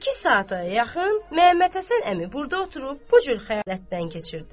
İki saata yaxın Məhəmməd Həsən əmi burda oturub bu cür xəyalətdən keçirdi.